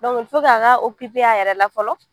a k'a a yɛrɛ la fɔlɔ